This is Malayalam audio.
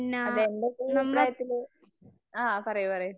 അതേ എന്റെ ഒരു അഭിപ്രായത്തില്, ആ പറയൂ പറയൂ